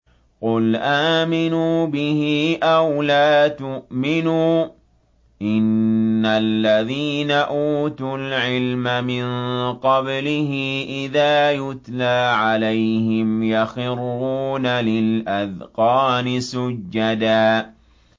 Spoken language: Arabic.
قُلْ آمِنُوا بِهِ أَوْ لَا تُؤْمِنُوا ۚ إِنَّ الَّذِينَ أُوتُوا الْعِلْمَ مِن قَبْلِهِ إِذَا يُتْلَىٰ عَلَيْهِمْ يَخِرُّونَ لِلْأَذْقَانِ سُجَّدًا